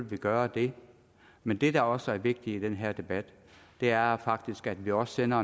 vi gøre det men det der også er vigtigt i den her debat er faktisk at vi også sender